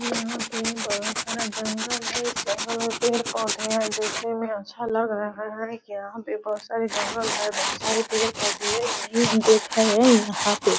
यहाँ पे बहुत सारा जंगल हैं इस जंगल में पेड़-पौधे हैं देखने में अच्छा लग रहा हैं यहाँ पे बहुत सारे जंगल हैं बहुत सारे पेड़-पौधे हैं यही हम देख रहे हैं यहाँ पे।